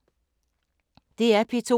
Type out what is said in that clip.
DR P2